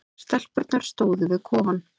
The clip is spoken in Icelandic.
Stelpurnar stóðu við kofann.